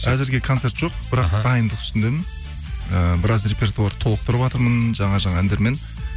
әзірге концерт жоқ бірақ дайындық үстіндемін ііі біраз репертуарды толықтырыватырмын жаңа жаңа әндермен